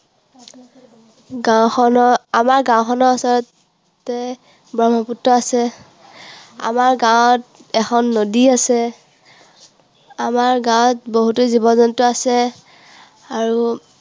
গাঁওখনৰ, আমাৰ গাঁওখনৰ ওচৰতে ব্ৰহ্মপুত্ৰ আছে। আমাৰ গাঁৱত এখন নদী আছে। আমাৰ গাঁৱত বহুতো জীৱ জন্তু আছে। আৰু